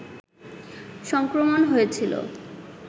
সংক্রমণ হয়েছিল